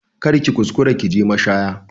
Kar ki kuskura ki je mashaya